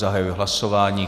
Zahajuji hlasování.